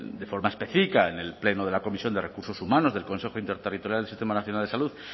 de forma específica en el pleno de la comisión de recursos humanos del consejo interterritorial del sistema nacional de salud